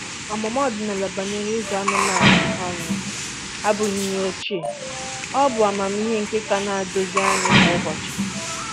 Ọmụma ọdịnala banyere ịzụ anụmanụ um abụghị ihe ochie—ọ bụ amamihe nke ka na-eduzi anyị kwa ụbọchị.